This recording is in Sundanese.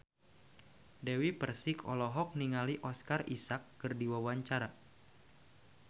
Dewi Persik olohok ningali Oscar Isaac keur diwawancara